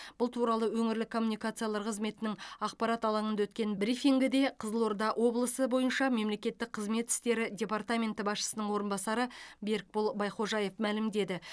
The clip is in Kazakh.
бұл туралы өңірлік коммуникациялар қызметінің ақпарат алаңында өткен брифингіде қызылорда облысы бойынша мемлекеттік қызмет істері департаменті басшысының орынбасары берікбол байхожаев мәлімдеді